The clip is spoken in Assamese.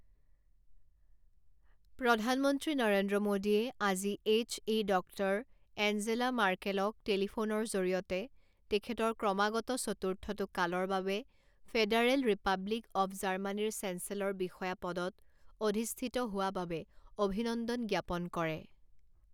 প্ৰধানমন্ত্ৰী নৰেন্দ্ৰ মোদীয়ে আজি এইচ.ই. ডক্টৰ এঞ্জেলা মাৰ্কেলক টেলিফোনৰ জৰিয়তে তেখেতৰ ক্ৰমাগত চতুৰ্থটো কালৰ বাবে ফেডাৰেল ৰিপাব্লিক অব জাৰ্মানীৰ চেঞ্চেলৰ বিষয়া পদত অধিষ্ঠিত হোৱা বাবে অভিনন্দন জ্ঞাপন কৰে।